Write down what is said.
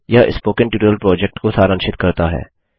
यह spoken tutorial project को सारांशित करता है